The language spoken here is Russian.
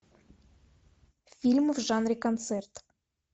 фильм в жанре концерт